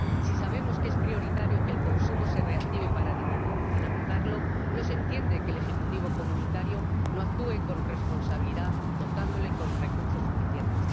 Si sabemos que es prioritario que el consumo se reactive para dinamizarlo, no se entiende que el Ejecutivo comunitario no actúe con responsabilidad dotándolo con recursos suficientes.